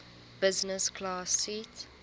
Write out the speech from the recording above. business class seat